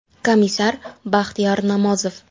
Komissar: Baxtiyor Namozov.